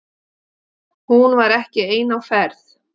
Hún var ekki ein á ferð.